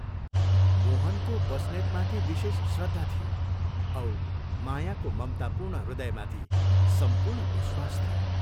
मोहनको बस्नेतमाथि विशेष श्रद्धा थियो औ मायाको ममतापूर्ण हृदयमाथि सम्पूर्ण विश्वास थियो।